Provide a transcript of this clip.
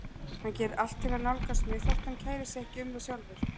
Hann gerir allt til að nálgast mig þótt hann kæri sig ekki um það sjálfur.